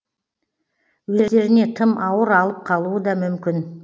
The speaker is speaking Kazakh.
өздеріне тым ауыр алып қалуы да мүмкін